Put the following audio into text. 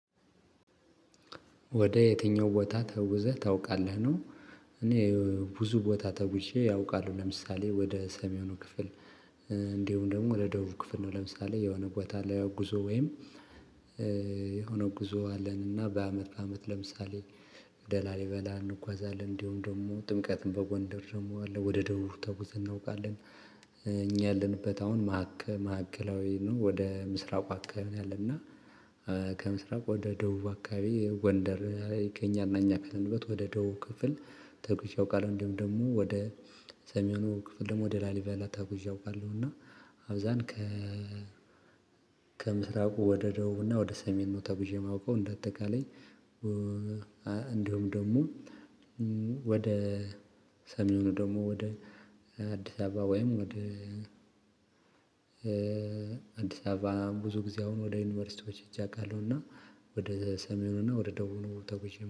ወደ የትኛው ቦታ ተጉዘህ ታውቃለህ ነው? እኔ ብዙ ቦታ ተጉዠ አውቃለው ለምሳሌ ወደ ሰሜኑ ክፍል እንዲሁም ደግሞ ወደ ደቡብ ክፍል ነው ለምሳሌ የሆነ ቦታ ላይ ለጉዞ ወይም የሆነ ጉዞ አለን እና በአመት አመት ለምሳሌ ወደ ላሊበላ እንጓዛለን እንዲሁም ደግሞ ጥምቀትን በጎንደር ደግሞ አለ ወደ ደቡብ ተጉዝ እናውቃለን። እኛ ያለንበት አሁን ማዕከ ማዕከላዊ ወደ ምስራቁ አካባቢ አለና። ከምስራቁ ወደ ደቡብ አካባቢ ጎንደር ይገኛል። እና እኛ ካለንበት ወደ ደቡብ ክፍል ተጉዤ አውቃለሁ። እንዲሁም ደግሞ ወደ ሰሜኑ ክፍል ደግሞ ወደ ላሊቫላ ተጉዠ አውቃለሁ። እና አብዛን ከ ከምስራቁ ወደ ደቡብና ወደ ሰሜን ነው ተጉዠ ማውቀው እንደ አጠቃላይ። እንዲሁም ደግሞ ወደ ሰሜኑ ደግሞ ወደ አዲስ አበባ ወይም ወደ አዲስ አበባ ብዙ ጊዜ አሁን ወደ ዩኒቨርሲቲዎች ሂጀ አውቃለሁና ወደ ሰሜኑና ወደ ደቡብ ተጉዠ